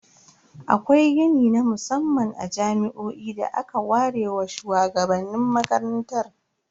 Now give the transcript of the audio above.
Akwai gini na musamman a jami'o'i da aka ware wa shuwagabannin makarantar.